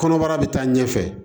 Kɔnɔbara bɛ taa ɲɛfɛ